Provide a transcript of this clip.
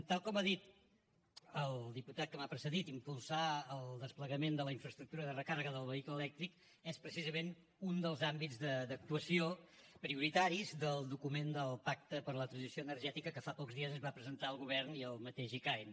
tal com ha dit el diputat que m’ha precedit impulsar el desplegament de la infraestructura de recàrrega del vehicle elèctric és precisament un dels àmbits d’actuació prioritaris del document del pacte per a la transició energètica que fa pocs dies es va presentar al govern i al mateix icaen